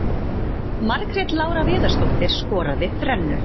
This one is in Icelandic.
Margrét Lára Viðarsdóttir skoraði þrennu.